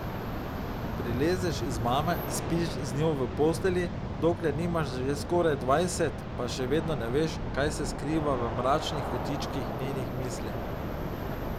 Prilezeš iz mame, spiš z njo v postelji, dokler jih nimaš že skoraj dvajset, pa še vedno ne veš, kaj se skriva v mračnih kotičkih njenih misli.